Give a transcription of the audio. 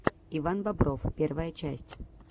иван бобров первая часть